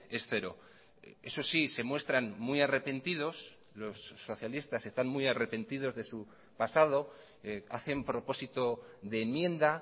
es cero eso sí se muestran muy arrepentidos los socialistas están muy arrepentidos de su pasado hacen propósito de enmienda